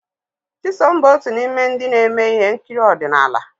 Chisom bụ otu n'ime ndị na-eme ihe nkiri ọdịnala.